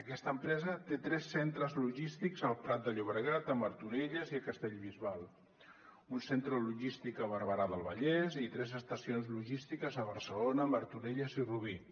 aquesta empresa té tres centres logístics al prat de llobregat a martorelles i a castellbisbal un centre logístic a barberà del vallès i tres estacions logístiques a barcelona martorelles i rubí